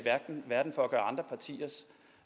verden for